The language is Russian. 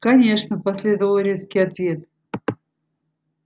конечно последовал резкий ответ